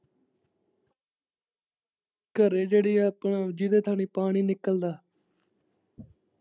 ਘਰੇ ਜਿਹੜੀ ਆਪਣਾ, ਜਿਦੇ ਥਾਣੀ ਪਾਣੀ ਪਾਣੀ ਨਿਕਲਦਾ।